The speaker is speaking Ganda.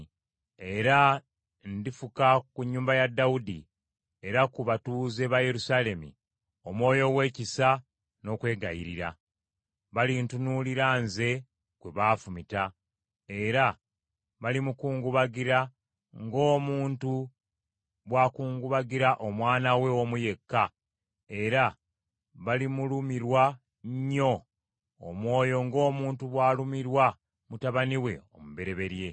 “Era ndifuka ku nnyumba ya Dawudi era ku batuuze ba Yerusaalemi Omwoyo ow’ekisa n’okwegayirira. Balintunuulira nze gwe baafumita: era balimukungubagira ng’omuntu bw’akungubagira omwana we omu yekka, era balimulumirwa nnyo omwoyo ng’omuntu bw’alumirwa mutabani we omubereberye.